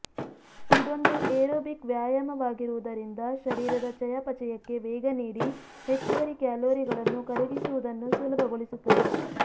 ಇದೊಂದು ಎರೋಬಿಕ್ ವ್ಯಾಯಾಮವಾಗಿರುವುದರಿಂದ ಶರೀರದ ಚಯಾಪಚಯಕ್ಕೆ ವೇಗ ನೀಡಿ ಹೆಚ್ಚುವರಿ ಕ್ಯಾಲೊರಿಗಳನ್ನು ಕರಗಿಸುವುದನ್ನು ಸುಲಭ ಗೊಳಿಸುತ್ತದೆ